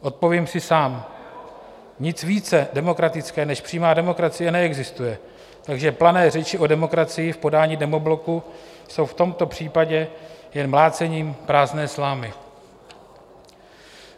Odpovím si sám: nic více demokratické než přímá demokracie neexistuje, takže plané řeči o demokracii v podání demobloku jsou v tomto případě jen mlácením prázdné slámy.